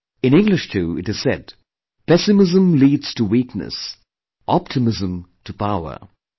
In English too, it is said, 'Pessimism leads to weakness, optimism to power'